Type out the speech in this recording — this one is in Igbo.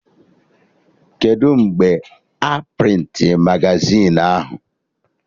Kedụ mgbe a prịntịrị magazin ahụ?